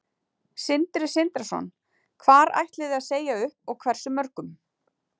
Sindri Sindrason: Hvar ætliði að segja upp og hversu mörgum?